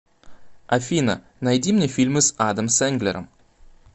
афина найди мне фильмы с адом сенглером